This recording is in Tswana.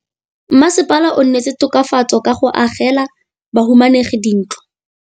Mmasepala o neetse tokafatsô ka go agela bahumanegi dintlo.